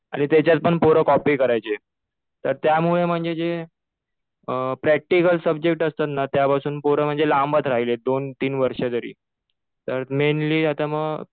आणि त्याच्यात पण पोरं कॉपी करायचे. तर त्यामुळे म्हणजे जे प्रॅक्टिकल सब्जेक्ट असतात ना त्यापासून पोरं म्हणजे लांबच राहिले. दोन-तीन वर्ष तरी. तर मेनली आता मग